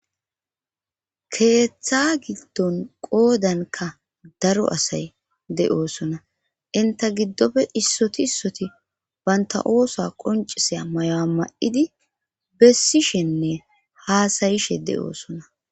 Keeththa giddon qoodanka daro asay de'oosona inta giddofe issoti issoti baynta oosa qoncisaya mayoa ma'idi bessishenne haasayishe de'oosona.